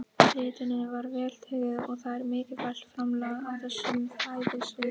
Ritinu var vel tekið og það er mikilvægt framlag á þessu fræðasviði.